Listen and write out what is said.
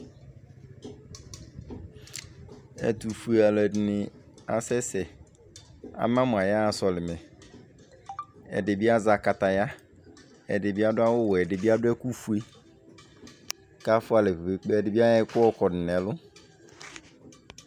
Ɛtʋfue alʋɛdɩnɩ akasɛsɛ. Ama mʋ ayaɣa sɔlɩmɛ. Ɛdɩ bɩ azɛ akataya. Ɛdɩ bɩ adʋ awʋwɛ, ɛdɩ bɩ adʋ ɛkʋfue kʋ afʋa alɛ kpe-kpe-kpe. Ɛdɩ bɩ ayɔ ɛkʋ yɔkɔdʋ nʋ ɛlʋ.